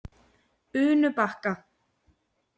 Unubakka